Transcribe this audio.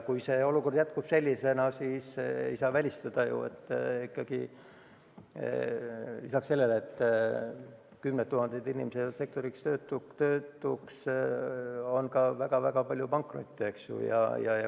Kui see olukord sellisena jätkub, siis ei saa välistada, et lisaks sellele, et kümned tuhanded inimesed jäävad sektoris töötuks, tuleb ka väga-väga palju pankrotte.